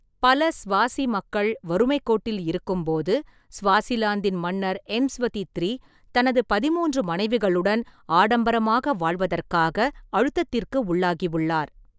பல ஸ்வாசி மக்கள் வறுமைக் கோட்டில் இருக்கும்போது, ​​ஸ்வாசிலாந்தின் மன்னர், எம்ஸ்வதி த்ரீ, தனது பதின்மூன்று மனைவிகளுடன் ஆடம்பரமாக வாழ்வதற்காக அழுத்தத்திற்கு உள்ளாகியுள்ளார்.